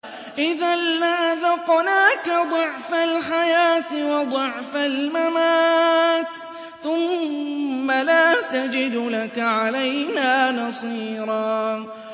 إِذًا لَّأَذَقْنَاكَ ضِعْفَ الْحَيَاةِ وَضِعْفَ الْمَمَاتِ ثُمَّ لَا تَجِدُ لَكَ عَلَيْنَا نَصِيرًا